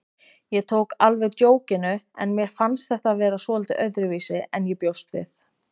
Ég tók alveg djókinu en mér fannst þetta vera svolítið öðruvísi en ég bjóst við.